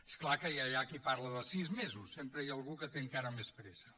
és clar que ja hi ha qui parla de sis mesos sempre hi ha algú que té encara més pressa